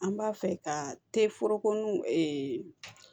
An b'a fɛ ka